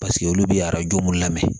Paseke olu bɛ arajo mun lamɛn